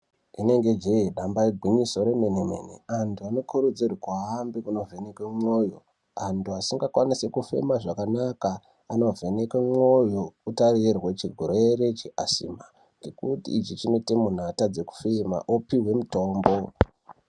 Rinonge jee damba ingwinyiso remenemene, antu anokurudzirwa ngekuvhenekwe mwoyo. Antu asikakwanisi kufema zvakanaka anovhenekwe mwoyo kutarirwe chirwere che asima ngekuti chinoite kuti munhu atadze kufema opuhwe mutombo.